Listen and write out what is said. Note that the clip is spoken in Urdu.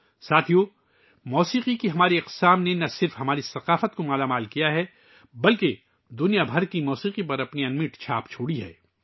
دوستو، ہماری موسیقی کی شکلوں نے نہ صرف ہماری ثقافت کو تقویت بخشی ہے بلکہ دنیا کی موسیقی پر بھی نہ مٹنے والے نقوش چھوڑے ہیں